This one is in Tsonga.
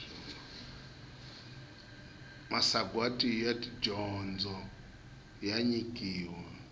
masagwati ya dyondzo ya nyikiwa